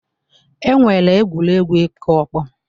E nwere egwuregwu ịkụ ọkpọ.